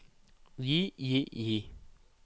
gi gi gi